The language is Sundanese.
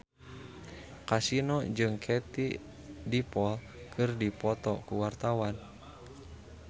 Kasino jeung Katie Dippold keur dipoto ku wartawan